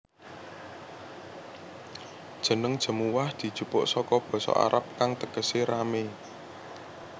Jeneng Jemuwah dijupuk saka basa Arab kang tegesé ramé